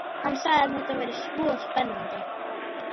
Hann sagði að þetta væri svo spennandi.